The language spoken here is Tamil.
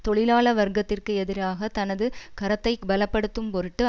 தொழிலாள வர்க்கத்திற்கு எதிராக தனது கரத்தைப் பல படுத்தும் பொருட்டு